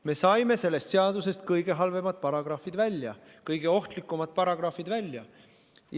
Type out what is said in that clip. Me saime sellest eelnõust kõige halvemad, kõige ohtlikumad paragrahvid välja.